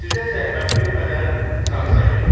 Sizə zəhmət vermədən zaksə getdik.